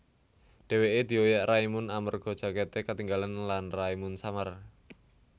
Dhèwèké dioyak Raimund amerga jakèté ketinggalan lan Raimund samar